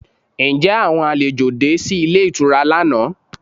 Ǹjẹ́ àwọn àlejò de sí ilé ìtura lánàá?